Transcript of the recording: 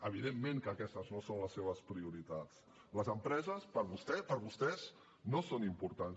evidentment que aquestes no són les seves prioritats les empreses per vostè per vostès no són importants